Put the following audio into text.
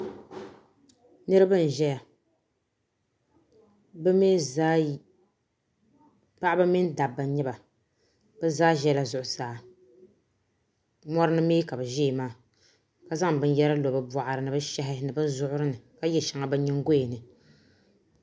Niraba n ʒɛya bi mii zaa paɣaba mini dabba n nyɛba bi zaa ʒɛla zuɣusaa mɔri mii ka bi ʒɛya maa ka zaŋ binyɛra lo bi boɣari ni bi shahi ni bi zuɣuri ni ka yɛ shɛŋa bi nyingoya ni